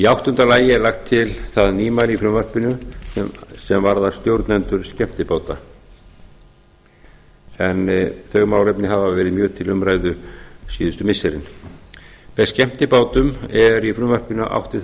áttunda lagt er til það nýmæli í frumvarpinu sem varðar stjórnendur skemmtibáta en þau málefni hafa verið mjög til umræðu síðustu missirin með skemmtibátum er í frumvarpinu átt við þá